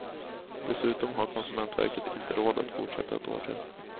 Dessutom har konsumentverket inte råd att fortsätta ett år till.